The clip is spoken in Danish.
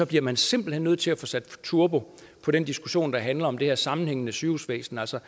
bliver man simpelt hen nødt til at få sat turbo på den diskussion der handler om det her sammenhængende sygehusvæsen altså